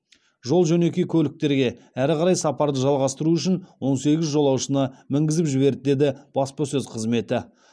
жол жөнекей көліктерге әрі қарай сапарды жалғастыру үшін он сегіз жолаушыны мінгізіп жіберді деді баспасөз қызметі